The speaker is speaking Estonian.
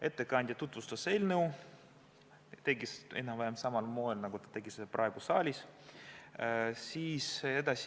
Ettekandja tutvustas eelnõu, tegi seda enam-vähem samal moel, nagu ta tegi seda praegu saalis.